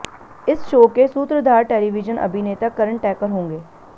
इस शो के सूत्रधार टेलीविजन अभिनेता करण टैकर होंगे